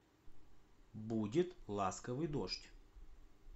будет ласковый дождь